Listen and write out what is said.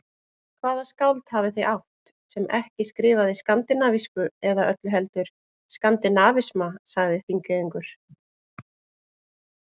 Hvaða skáld hafið þið átt, sem ekki skrifaði skandinavísku eða öllu heldur skandinavisma, sagði Þingeyingur.